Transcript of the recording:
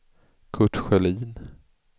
Kurt Sjölin